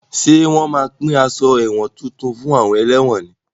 Ṣé wọn má pín aṣọ ẹ̀wọ̀n tuntun fún àwọn ẹlẹ́wọ̀n ni?